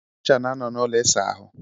Ncha na-anọ n'ụlọ ịsa ahụ.